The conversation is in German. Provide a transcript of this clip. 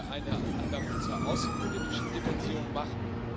Ich möchte eine Anmerkung zur außenpolitischen Dimension machen.